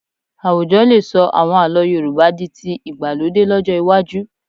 Àwùjọ lè sọ àwọn àlọ́ Yorùbá di ti ìgbàlódé lọ́jọ́ iwájú